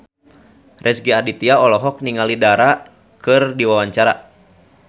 Rezky Aditya olohok ningali Dara keur diwawancara